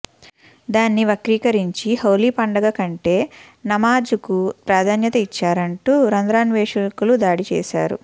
దాన్ని వక్రీకరించి హౌలీ పండుగ కంటే నమాజుకు ప్రాధాన్యత ఇచ్చారంటూ రంధ్రాన్వేషకులు దాడి చేశారు